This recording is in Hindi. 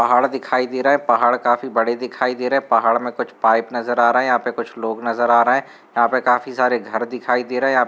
पहाड़ दिखाई दे रहा पहाड़ काफी बड़े दिखाई दे रहे पहाड़ में कुछ पाइप नज़र आ रहे यहां पे कुछ लोग नज़र आ रहे यहां पे काफी सारे घर दिखाई दे रहे यहां --